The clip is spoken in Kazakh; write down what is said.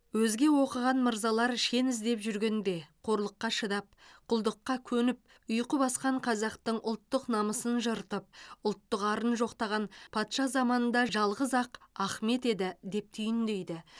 өзге оқыған мырзалар шен іздеп жүргенде қорлыққа шыдап құлдыққа көніп ұйқы басқан қазақтың ұлттық намысын жыртып ұлттық арын жоқтаған патша заманында жалғыз ақ ахмет еді деп түйіндейді